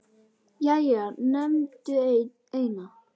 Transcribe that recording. Jæja, nefndu eina